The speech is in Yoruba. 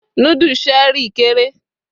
nudu Cherie kere